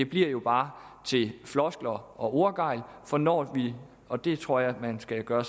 bliver jo bare til floskler og ordgejl for når vi og det tror jeg man skal gøre